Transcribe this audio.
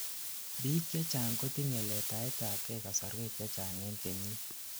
biik chechang kotinyei letaetabkei kasorwek chechang en kenyiit